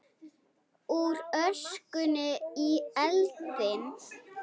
Úr öskunni í eldinn